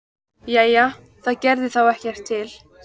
Jæja, það gerði þá ekkert til.